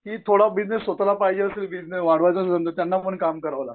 की थोडा बिजनेस स्वतःला पाहिजे असेलं त्यांना पण कामं करावं लागतं.